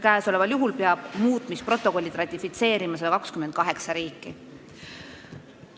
Käesoleval juhul peab muutmisprotokollid ratifitseerima 128 riiki.